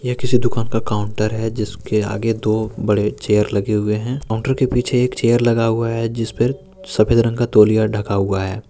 यह किसी दुकान का काउंटर है। जिसके आगे दो बड़े चेयर लगे हुवे हैं। काउंटर के पीछे एक चेयर लगा हुआ है। जिसपर सफेद रंग का तौलिया ढका हुआ है।